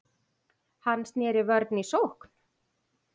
Hann sneri vörn í sókn.